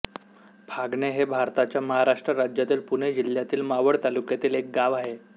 फागणे हे भारताच्या महाराष्ट्र राज्यातील पुणे जिल्ह्यातील मावळ तालुक्यातील एक गाव आहे